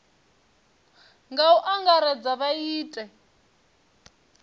nga u angaredza vha ite